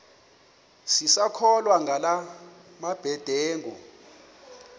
sisakholwa ngala mabedengu